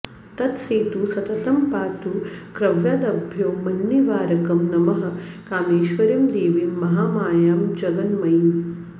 तत् सेतु सततं पातु क्रव्याद्भ्यो मान्निवारकम् नमः कामेश्वरीं देवीं महामायां जगन्मयीम्